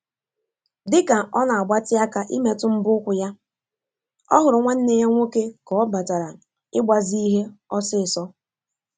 Dịka ọ na agbatị aka imetụ mbọ ụkwụ ya, ọ hụrụ nwanneya nwoke ka ọ batara ịgbazi ihe ọ̀sị́sọ̀